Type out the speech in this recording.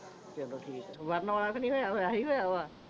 ਚਲੋ ਠੀਕ ਆ ਵਰਣ ਵਾਲਾ ਤਾਂ ਨਹੀਂ ਹੋਇਆ ਵਾ